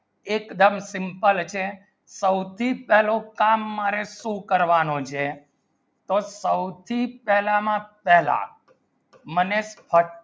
એકદમ simple છે સૌથી પહેલો કામ મારે શું કરવાનો છે તો સૌથી પહેલામાં પહેલા મને